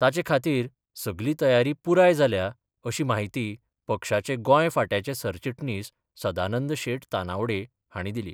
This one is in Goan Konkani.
ताचे खातीर सगली तयारी पुराय जाल्या अशी माहिती पक्षाचे गोंय फांट्याचे सरचिटणीस सदानंद शेट तानावडे हांणी दिली.